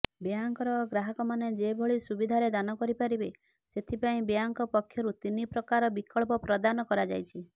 ବ୍ୟାଙ୍କର ଗ୍ରାହକମାନେ ଯେଭଳି ସୁବିଧାରେ ଦାନ କରିପାରିବେ ସେଥିପାଇଁ ବ୍ୟାଙ୍କ ପକ୍ଷରୁ ତିନି ପ୍ରକାର ବିକଳ୍ପ ପ୍ରଦାନ କରାଯାଇଛି